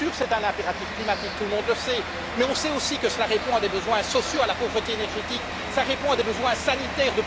Bien sûr, c'est un impératif climatique, tout le monde le sait, mais on sait aussi que cela répond à des besoins sociaux, à la pauvreté énergétique, à des besoins sanitaires.